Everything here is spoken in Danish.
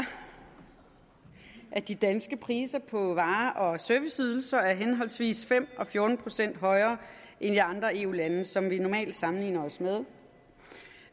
at de danske priser på varer og serviceydelser er henholdsvis fem og fjorten procent højere end i de andre eu lande som vi normalt sammenligner os med